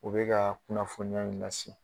U bɛka kunnafoniya in na